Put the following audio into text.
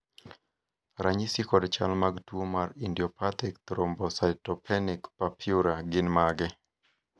ranyisi kod chal mag tuo mar Idiopathic thrombocytopenic purpura gin mage?